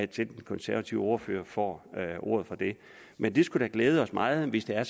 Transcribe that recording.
den konservative ordfører får ordet men det skulle da glæde os meget hvis det er